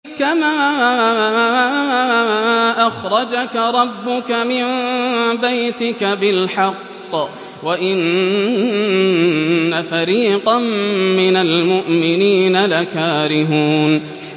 كَمَا أَخْرَجَكَ رَبُّكَ مِن بَيْتِكَ بِالْحَقِّ وَإِنَّ فَرِيقًا مِّنَ الْمُؤْمِنِينَ لَكَارِهُونَ